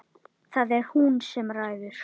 Það er hún sem ræður.